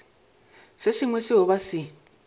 se sengwe seo ba se